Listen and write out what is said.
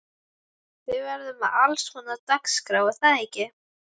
Þið verðið með allskonar dagskrá er það ekki?